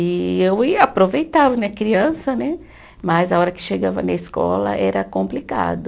E eu e aproveitava né, criança né, mas a hora que chegava na escola era complicado.